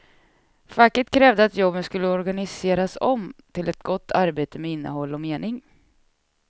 Facket krävde att jobben skulle organiseras om till ett gott arbete med innehåll och mening.